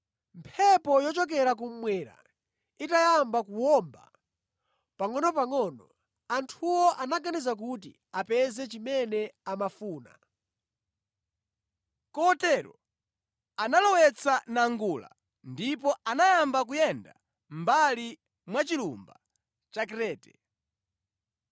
Mphepo yochokera kummwera itayamba kuwomba pangʼonopangʼono, anthuwo anaganiza kuti apeza chimene amafuna; kotero analowetsa nangula ndipo anayamba kuyenda mʼmbali mwa chilumba cha Krete.